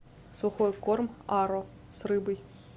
сухой корм аро с рыбой